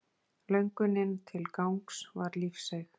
Löngunin til gangs var lífseig.